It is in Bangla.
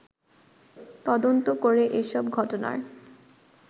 তদন্ত করে এসব ঘটনার